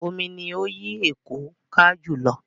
Omi ni ó yí Èkó ká jù lọ.